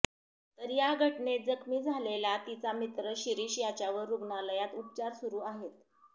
तर या घटनेत जखमी झालेला तिचा मित्र शिरिष याच्यावर रुग्णालयात उपचार सुरु आहेत